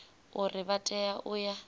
uri vha tea u ya